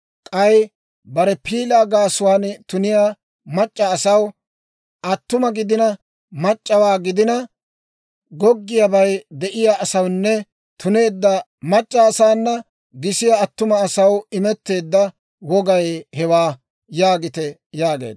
k'ay bare piilaa gaasuwaan tuniyaa mac'c'a asaw, attuma gidina mac'c'awaa gidina goggiyaabay de'iyaa asawunne tuneedda mac'c'a asaana gisiyaa attuma asaw imetteedda wogay hewaa› yaagite» yaageedda.